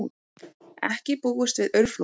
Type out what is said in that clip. Ekki búist við aurflóðum